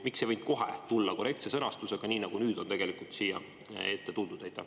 Miks ei võinud kohe tulla korrektse sõnastusega, nagu nüüd on siia tuldud?